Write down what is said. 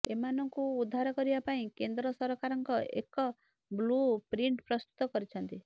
ଏମାନଙ୍କୁ ଉଦ୍ଧାର କରିବା ପାଇଁ କେନ୍ଦ୍ର ସରକାରଙ୍କ ଏକ ବ୍ଲୁ ପ୍ରିଂଟ ପ୍ରସ୍ତୁତ କରିଛନ୍ତି